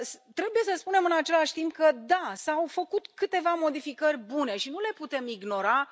Trebuie să spunem, în același timp, că, da, s au făcut câteva modificări bune și nu le putem ignora.